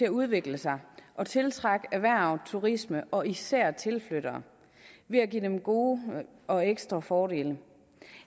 at udvikle sig og tiltrække erhverv og turisme og især tilflyttere ved at give dem gode og ekstra fordele